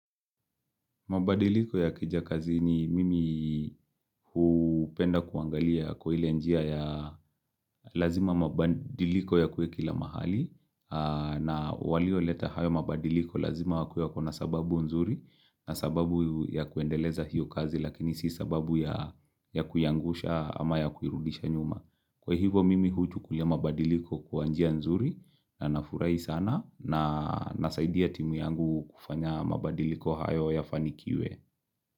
Mabadiliko yakija kazini mimi hupenda kuangalia kwa ile njia ya lazima mabadiliko yakuwe kila mahali na walioleta hayo mabadiliko lazima wakuwe wako na sababu nzuri na sababu ya kuendeleza hiyo kazi lakini si sababu ya kuyaangusha ama ya kuirudisha nyuma. Kwa hivo mimi huchukulia mabadiliko kwa njia nzuri na nafurahi sana na nasaidia timu yangu kufanya mabadiliko hayo yafanikiwe.